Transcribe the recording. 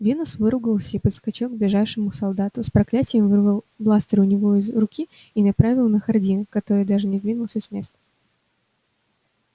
венус выругался и подскочил к ближайшему солдату с проклятием вырвал бластер у него из руки и направил на хардина который даже не сдвинулся с места